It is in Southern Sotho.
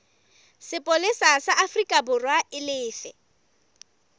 sepolesa sa aforikaborwa e lefe